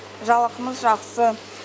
жалақымыз жақсы